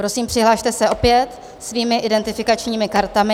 Prosím, přihlaste se opět svými identifikačními kartami.